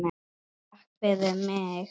Takk fyrir mig!